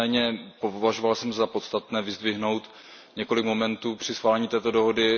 Nicméně považoval jsem za podstatné vyzdvihnout několik momentů při schválení této dohody.